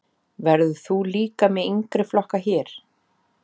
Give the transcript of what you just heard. Verður þú líka með yngri flokka hér?